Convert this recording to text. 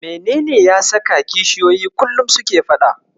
Menene ya saka kishiyoyi kullum suke faɗa?